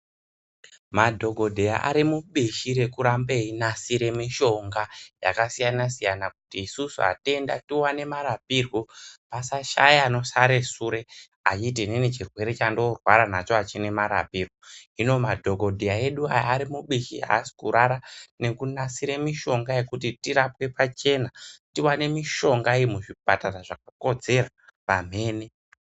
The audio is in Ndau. Madhokodheya ari mubishi reku rambe eyi nasire mishonga yakasiyana siyana kuti isusu atenda tiwane marapirwo, pasa shaya ano sara sure achiti inini chirwere chandino rwara nacho achina marapiro. Hino madhokodheya edu aya, ari mubishi, aasi kurara neku nasire mishonga yekuti tirapwe pachena, tiwane mishonga iyi muzvipatara zvaka kodzera pamhene.